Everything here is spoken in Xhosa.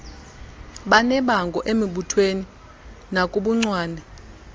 banebango emibuthweni nakubuncwane